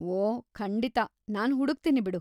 ಓ, ಖಂಡಿತ, ನಾನ್‌ ಹುಡಕ್ತೀನಿ ಬಿಡು!